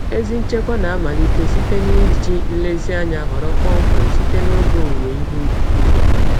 Ezi nchekwa na-amalite site na iji nlezianya họrọ kpọmkwem site n'oge owuwe ihe ubi.